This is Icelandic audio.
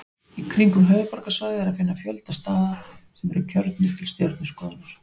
Í kringum höfuðborgarsvæðið er að finna fjölda staða sem eru kjörnir til stjörnuskoðunar.